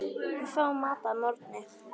Við fáum mat að morgni.